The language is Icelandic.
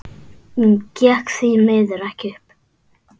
Gekk því miður ekki upp.